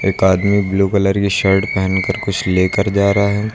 एक आदमी blue colour की शर्ट पेहनकर कुछ लेकर जा रहा है।